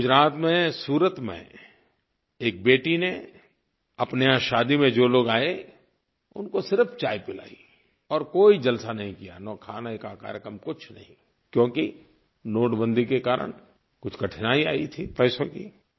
गुजरात में सूरत में एक बेटी ने अपने यहाँ शादी में जो लोग आए उनको सिर्फ़ चाय पिलाई और कोई जलसा नहीं किया न कोई खाने का कार्यक्रम कुछ नहीं क्योंकि नोटबंदी के कारण कुछ कठिनाई आई थी पैसों की